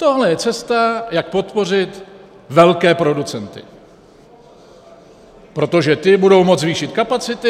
Tohle je cesta, jak podpořit velké producenty, protože ti budou moci zvýšit kapacity.